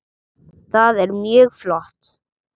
Það er mjög flott.